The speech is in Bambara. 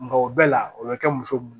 Nka o bɛɛ la o bɛ kɛ muso mun